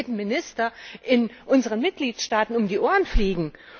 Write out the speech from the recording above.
Das würde jedem Minister in unseren Mitgliedstaaten um die Ohren fliegen.